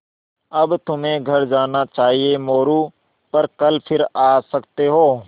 अब तुम्हें घर जाना चाहिये मोरू पर कल फिर आ सकते हो